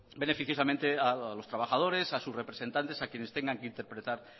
beneficiosamente a los trabajadores a sus representantes a quienes tengan que interpretar